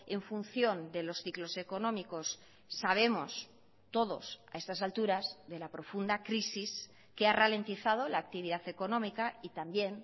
en función de los ciclos económicos sabemos todos a estas alturasde la profunda crisis que ha ralentizado la actividad económica y también